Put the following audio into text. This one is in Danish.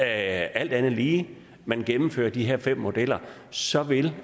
alt andet lige gennemfører de her fem modeller så vil